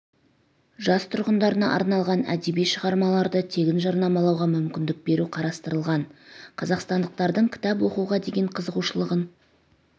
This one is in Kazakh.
жас тұрғындарына арналған әдеби шығармаларды тегін жарнамалауға мүмкіндік беру қарастырылған қазақстандықтардың кітап оқуға деген қызығушылығын